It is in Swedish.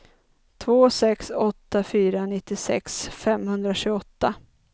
två sex åtta fyra nittiosex femhundratjugoåtta